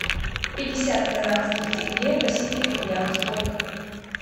пятьдесят казахских тенге в российских рублях сколько